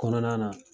Kɔnɔna na